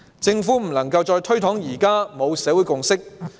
政府不能再推搪說現時沒有社會共識。